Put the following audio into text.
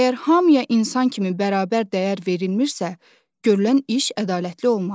Əgər hamıya insan kimi bərabər dəyər verilmişsə, görülən iş ədalətli olmaz.